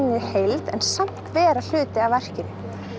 heild en samt vera hluti af verkinu